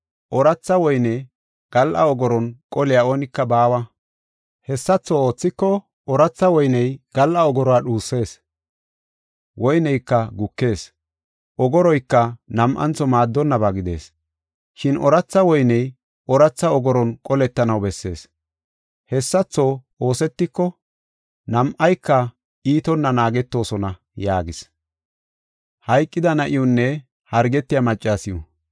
Ooratha woyne gal7a ogoron qoliya oonika baawa. Hessatho oothiko ooratha woyney gal7a ogoruwa dhusees woyneyka gukees; ogoroyka nam7antho maaddonnaba gidees. Shin ooratha woyney ooratha ogoron qoletanaw bessees. Hessatho oosetiko nam7ayka iitonna naagetoosona” yaagis. Woyne Ogoro